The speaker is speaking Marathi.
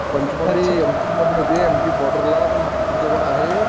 पंचमढी एमपी मध्ये येते, एमपी बॉर्डरला नागपूर जवळ आहे